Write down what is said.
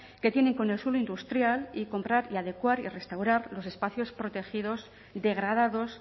que tienen con el suelo industrial y comprar y adecuar y restaurar los espacios protegidos degradados